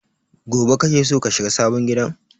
Gobe kake so ka shiga sabon gidan?